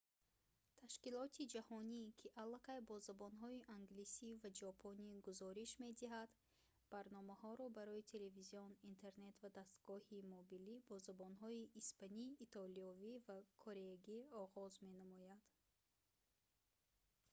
ташкилоти ҷаҳонӣ ки аллакай бо забонҳои англисӣ ва ҷопонӣ гузориш медиҳад барномаҳоро барои телевизион интернет ва дастгоҳҳои мобилӣ бо забонҳои испанӣ итолиёӣ ва кореягӣ оғоз менамояд